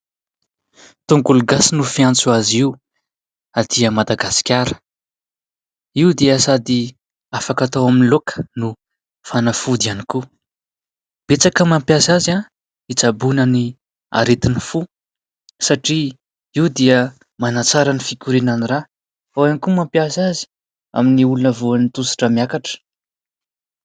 Tongolo gasy no fiantso azy io aty Madagasikara, io dia sady afaka hatao amin'ny laoka no fanafody ihany koa ; betsaka mampiasa azy hitsaboana ny aretin'ny fo satria io dia manantsara ny fikorianan'ny rà, ao ihany koa mampiasa azy amin'ny olona voan'ny tosi-drà miakatra.